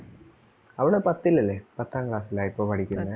അവള് പത്തിലല്ലേ പത്താം class ലാ ഇപ്പം പഠിക്കണേ